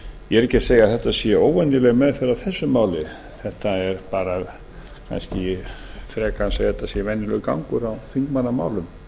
ég er ekki að segja að þetta sé óvenjuleg meðferð á þessu máli ég er kannski frekar að segja að þetta sé venjulegur gangur á þingmannamálum